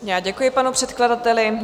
Děkuji panu předkladateli.